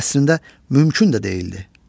Bu əslində mümkün də deyildi.